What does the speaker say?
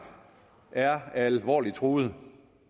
er alvorligt truet